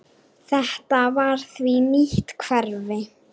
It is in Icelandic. Þetta var því nýtt hverfi.